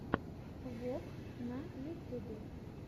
вок на ютубе